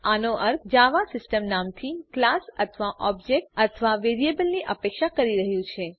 આનો અર્થ Java system નામથી ક્લાસ અથવા ઓબ્જેક્ટ અથવા વેરીએબલની અપેક્ષા કરી રહ્યુ છે